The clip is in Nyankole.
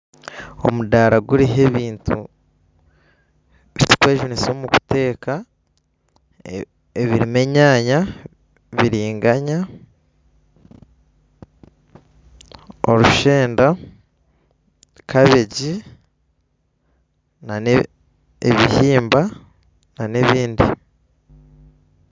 Omudaara guriho ebintu ebitukwejunisa omukuteeka ebirimu enyaanya, biringanya, orushenda, kabeegi na n'ebihimba na n'ebindi.